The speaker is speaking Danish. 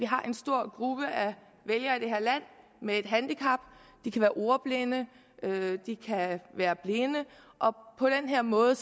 har en stor gruppe vælgere med et handicap det kan være ordblinde eller blinde og på den her måde